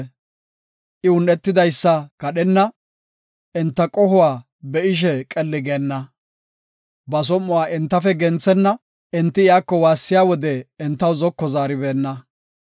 I un7etidaysa kadhenna; enta qohuwa be7ishe qelli geenna. Ba som7uwa entafe genthenna; enti iyako waassiya wode, entaw zoko zaaribeenna.